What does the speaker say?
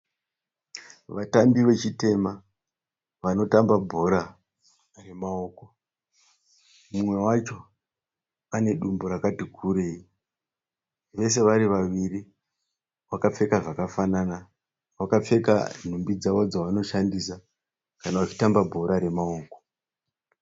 Vatambi vechitema, vanotamba bhora remaoko. Umwe wacho ane dumbu rakati kurei. Vese vari vaviri vakapfeka zvakafanana. Vakapfeka nhumbi dzavo dzavanoshandisa kana vachitamba bhora remaoko.